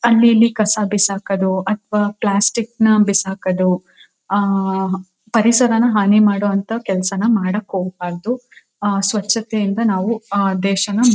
ಅಲ್ಲಿ ಇಲ್ಲಿ ಕಸ ಬಿಸಾಕೋದು ಅಥವಾ ಪ್ಲಾಸ್ಟಿಕ್ ನ ಬಿಸಾಕೋದು ಆ ಪರಿಸರನ ಹಾನಿ ಮಾಡೋ ಅಂತ ಕೆಲಸಾನ ಮಾಡಕ್ಕೆ ಹೋಗಬಾರದು. ಆ ಸ್ವಚ್ಛತೆಯಿಂದ ನಾವು ಆ ದೇಶನ--